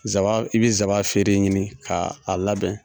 zaban i bi zaban feere ɲini k'a labɛn.